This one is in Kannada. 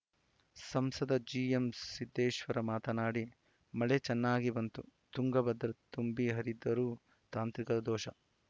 ಸಂಸದ ಜಿಎಂ ಸಿದ್ದೇಶ್ವರ ಮಾತನಾಡಿ ಮಳೆ ಚೆನ್ನಾಗಿ ಬಂದು ತುಂಗಾಭದ್ರಾ ತುಂಬಿ ಹರಿದರೂ ತಾಂತ್ರಿಕ ದೋಷ